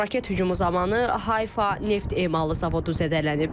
Raket hücumu zamanı Hayfa neft emalı zavodu zədələnib.